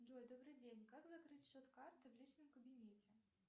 джой добрый день как закрыть счет карты в личном кабинете